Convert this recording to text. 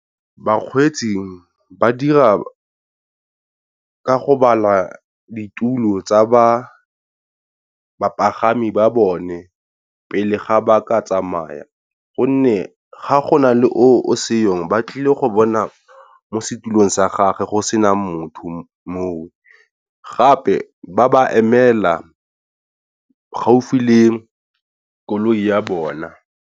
Bakgweetsi ba dira ka go bala ditulo tsa ba bapagami ba bone pele ga ba ka tsamaya, gonne ga go nale o seyong ba tlile go bona mo setulong sa gage go sena motho moo, gape ba ba emela gaufi le koloi ya bona.